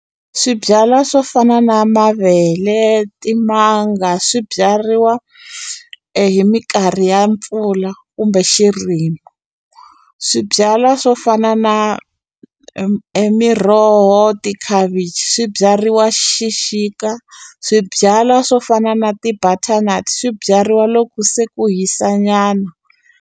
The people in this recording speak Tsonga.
Swibyala swo fana na mavele, timanga swi byariwa hi minkarhi ya mpfula kumbe xirimi. Swibyala swo fana na e miroho, tikhavichi swi byariwa xixika. Swibyala swo fana na ti-butternut swi byariwa loko se ku hisa nyana.